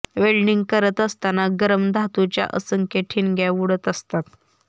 welding करत असताना गरम धातूच्या असंख्य ठिणग्या उडत असतात